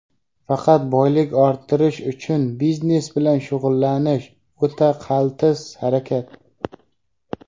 Faqat boylik orttirish uchun biznes bilan shug‘ullanish - o‘ta qaltis harakat.